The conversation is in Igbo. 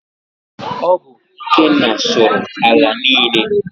Ọ bụ Ikenna sụrụ ala niile.